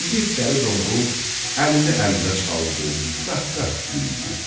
İgid Dəli Domrul əlini əlinə çaldı, qəhqəh güldü.